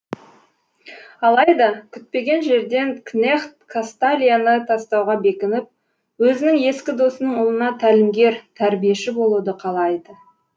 алайда күтпеген жерден кнехт касталияны тастауға бекініп өзінің ескі досының ұлына тәлімгер тәрбиеші болуды қалайды